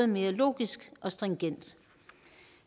mere logisk og stringent